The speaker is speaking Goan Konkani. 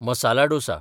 मसाला डोसा